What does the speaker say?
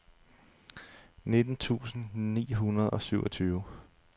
nitten tusind ni hundrede og syvogtyve